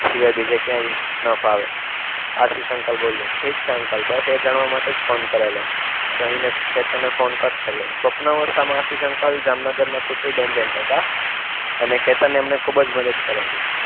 એ સિવાય બીજા ક્યાંય ન ફાવે. આશિષ અંકલ બોલ્યા. ઠીક છે અંકલ બસ એ જ જાણવા માટે ફોન કરેલો કહીને કે તને ફોન કટ કર્યો. સ્વપ્ન અવસ્થામાં આશિષ અંકલ જામનગરના સુપ્રી ટેન્ડેન્ટ હતા અને કે તને એમને ખૂબ જ મદદ કરેલી.